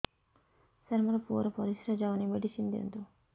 ସାର ମୋର ପୁଅର ପରିସ୍ରା ଯାଉନି ମେଡିସିନ ଦିଅନ୍ତୁ